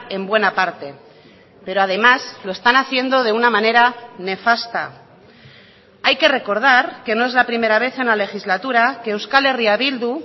en buena parte pero además lo están haciendo de una manera nefasta hay que recordar que no es la primera vez en la legislatura que euskal herria bildu